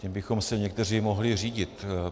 Tím bychom se někteří mohli řídit.